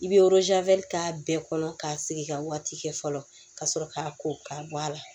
I bɛ k'a bɛɛ kɔnɔ k'a sigi ka waati kɛ fɔlɔ ka sɔrɔ k'a ko k'a bɔ a la